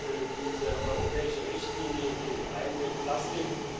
für diese europäische Richtlinie gegen Einwegplastik.